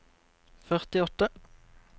førtiåtte